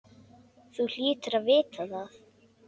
Þú hlýtur að vita það.